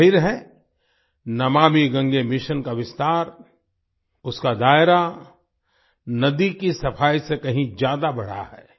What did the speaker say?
जाहिर है नमामि गंगे मिशन का विस्तार उसका दायरा नदी की सफाई से कहीं ज्यादा बढ़ा है